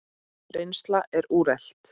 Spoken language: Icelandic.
Reynsla er úrelt.